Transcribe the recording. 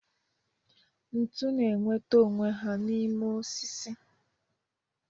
Ntu na-enweta onwe ha n'ime ọsisi.